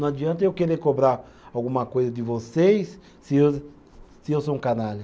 Não adianta eu querer cobrar alguma coisa de vocês se eu, se eu sou um canalha.